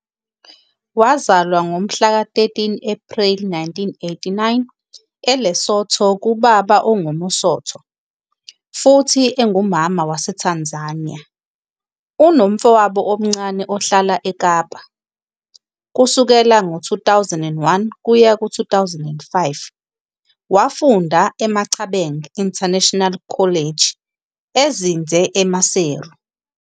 Wazalwa ngomhlaka 13 Ephreli 1989 eLesotho kubaba ongumMosotho futhi engumama waseTanzania. Unomfowabo omncane ohlala eKapa. Kusukela ngo-2001 kuya ku-2005, wafunda eMachabeng International College ezinze eMaseru.